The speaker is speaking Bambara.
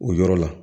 O yɔrɔ la